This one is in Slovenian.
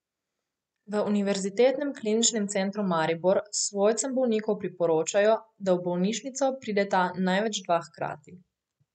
V Univerzitetnem kliničnem centru Maribor svojcem bolnikov priporočajo, da v bolnišnico prideta največ dva hkrati.